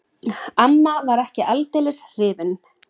Amma var ekki aldeilis hrifin.